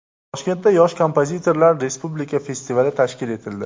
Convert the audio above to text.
Toshkentda Yosh kompozitorlar respublika festivali tashkil etildi.